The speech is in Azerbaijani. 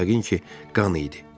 Bu yəqin ki, qan idi.